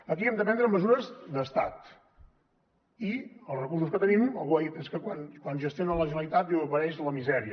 aquí hem de prendre mesures d’estat i els recursos que tenim algú ha dit és que quan gestiona la generalitat diu apareix la misèria